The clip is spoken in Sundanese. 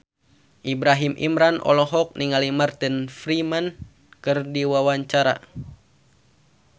Ibrahim Imran olohok ningali Martin Freeman keur diwawancara